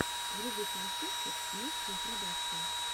вруби концерты мухсин продакшен